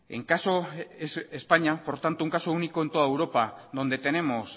es españa un caso único en toda europa donde tenemos